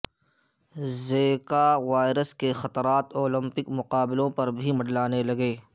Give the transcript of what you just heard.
Zika virus کے خطرات Olympic مقاابلوں پر بھی منڈلانے لگے